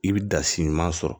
I bɛ da si ɲuman sɔrɔ